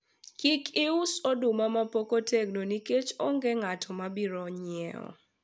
kik ius oduma mapok otegno nikech onge ng'at mabiro nyiewo